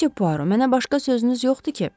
Müsü Puaro, mənə başqa sözünüz yoxdur ki?